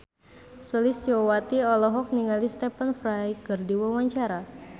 Sulistyowati olohok ningali Stephen Fry keur diwawancara